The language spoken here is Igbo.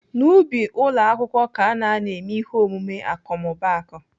N'ubi ụlọ akwụkwọ ka ana anọ eme ihe omume akọmmụbaaku.